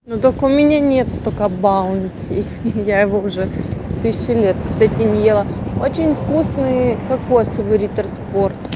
но только у меня нет столько баунти я его уже тысячу лет кстати не ела очень вкусный кокосовый риттер спорт